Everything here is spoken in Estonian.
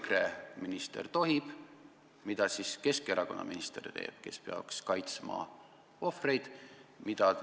Kui EKRE minister seda tohib, mida siis teeb Keskerakonna minister, kes peaks ohvreid kaitsma?